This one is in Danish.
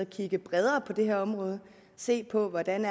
kigge bredere på det her område se på hvordan